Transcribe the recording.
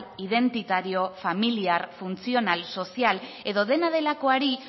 identitario familiar funtzional sozial edo dena delakoari